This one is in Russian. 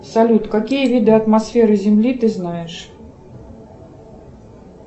салют какие виды атмосферы земли ты знаешь